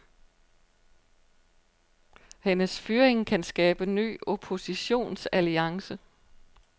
Hendes fyring kan skabe ny oppositionsalliance.